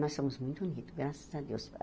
Nós somos muito unidos, graças a Deus.